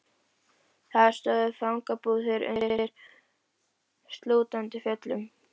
Þar stóðu fangabúðirnar undir slútandi fjöllum.